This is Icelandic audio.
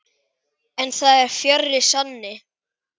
En það er fjarri sanni.